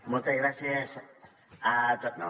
moltes gràcies a tots